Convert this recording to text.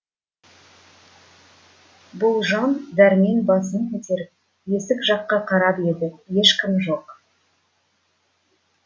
бұл жан дәрмен басын көтеріп есік жаққа қарап еді ешкім жоқ